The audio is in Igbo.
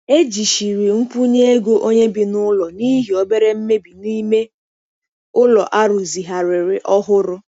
Ejichiri nkwụnye ego onye bi n'ụlọ n'ihi obere mmebi n'ime ụlọ a rụzigharịrị ọhụrụ.